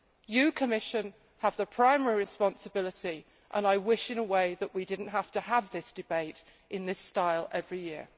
You, the Commission, have the primary responsibility, and I wish in a way that we did not have to have this debate in this style every year.